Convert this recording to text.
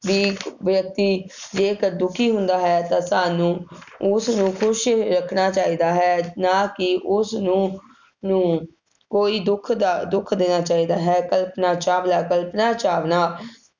ਵੀ ਵਿਅਕਤੀ ਜੇਕਰ ਦੁਖੀ ਹੁੰਦਾ ਹੈ ਤਾਂ ਤੁਹਾਨੂੰ ਉਸ ਨੂੰ ਖੁਸ਼ ਰੱਖਣਾ ਚਾਹੀਦਾ ਹੈ, ਨਾ ਕਿ ਉਸਨੂੰ ਨੂੰ ਕੋਈ ਦੁੱਖ ਦ~ ਦੇਣਾ ਚਾਹੀਦਾ ਹੈ, ਕਲਪਨਾ ਚਾਵਲਾ, ਕਲਪਨਾ ਚਾਵਲਾ